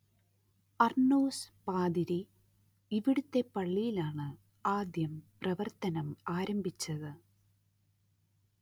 Arnos പാതിരി ഇവിടത്തെ പള്ളിയിലാണ് ആദ്യം പ്രവർത്തനം ആരംഭിച്ചത്